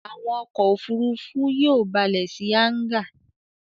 Àwọn ọkọ̀-òfurufú yóò balẹ̀ sí hángà